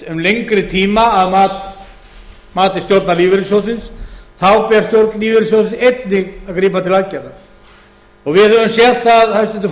um lengri tíma að mati stjórnar lífeyrissjóðsins þá ber stjórn lífeyrissjóðsins einnig að grípa til aðgerða og við höfum séð það hæstvirtur